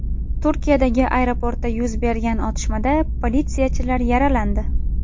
Turkiyadagi aeroportda yuz bergan otishmada politsiyachilar yaralandi.